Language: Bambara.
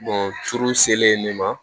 furu selen nin ma